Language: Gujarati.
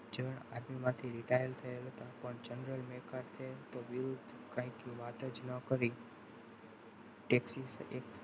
જણ army માંથી retired થયેલા હતા પણ general maker છે તો વિરુદ્ધ કંઈક વાત જ ના કરી taxi